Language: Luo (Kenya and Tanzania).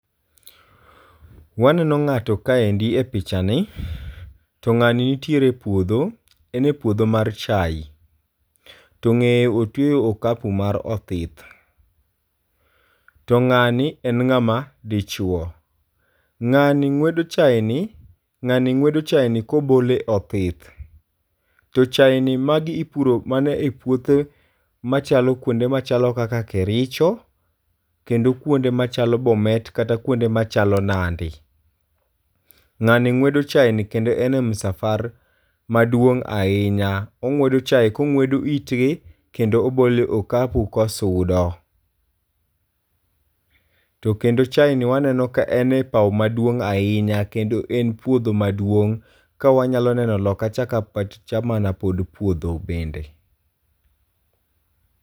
Waneno ng'ato kaendi e picha ni to ng'ani nitiere e puodho. En e puodho mar chai. To ng'eye otweyo okapu mar othith. To ng'ani en ng'ama dichuo. Ng'ani ng'wedo chai ni. Ng'ani ng'wedo chai ni ni kobole othith. To chain ni magi ipuro mane e puothe machalo kuonde machalo kaka Kericho. Kendo kuonde machalo Bomet kata kuonde machalo Nandi. Ng'ani ng'wedo chain ni kendo en a msafar maduong' ahinya. Ong'wedo chai kongwedo itgi kendo obole okapu kosudo. To kendo chain ni waneno ka en a paw maduong' ahinya kendo e puodho maduong' ka wanyalo neno loka cha ka ma pod puodho bende.